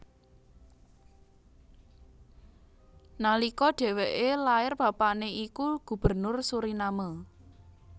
Nalika dhèwèké lair bapané iku Gubernur Suriname